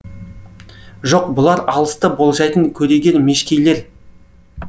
жоқ бұлар алысты болжайтын көреген мешкейлер